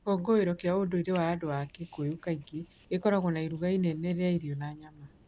Gĩkũngũĩro kĩa ũndũire wa andũ a Kikuyu kaingĩ gĩkoragwo na iruga inene rĩa irio na nyama cia nyama.